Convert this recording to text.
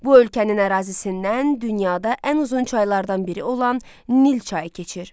Bu ölkənin ərazisindən dünyada ən uzun çaylardan biri olan Nil çayı keçir.